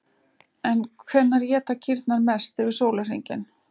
En hvenær éta kýrnar mest yfir sólarhringinn?